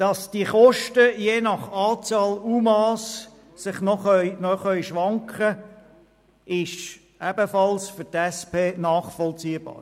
Dass die Kosten je nach Anzahl der UMA noch schwanken können, ist für die SP ebenfalls nachvollziehbar.